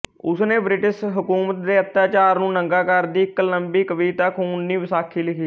ਉਸ ਨੇ ਬ੍ਰਿਟਿਸ਼ ਹਕੂਮਤ ਦੇ ਅੱਤਿਆਚਾਰ ਨੂੰ ਨੰਗਾ ਕਰਦੀ ਇੱਕ ਲੰਮੀ ਕਵਿਤਾ ਖ਼ੂਨੀ ਵਿਸਾਖੀ ਲਿਖੀ